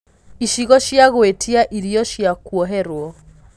icigo cĩa gũĩtĩa ĩrĩo cĩa kuoherwo